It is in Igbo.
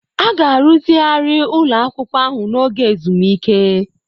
A ga-arụzigharị ụlọ akwụkwọ ahụ n'oge ezumike.